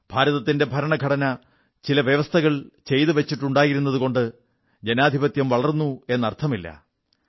ഭാരതത്തിന്റെ ഭരണഘടന ചില വ്യവസ്ഥകൾ ചെയ്തു വച്ചിട്ടുണ്ടായിരുന്നതുകൊണ്ട് ജനാധിപത്യം വളർന്നു എന്നതുകൊണ്ടായിരുന്നില്ല അത്